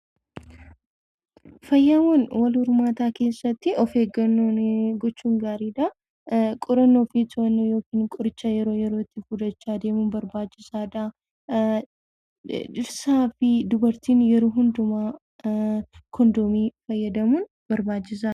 Fayyaawwan wal hormaataa keessatti of eeggannoo gochuun gaariidha. Qorannoo fi to'annoo yookiin qoricha yeroo yerootti fudhachaa deemuun barbaachisaadha. Dhirsaa fi dubartiin yeroo hundumaa kondomii fayyadamuun barbaachisaadha.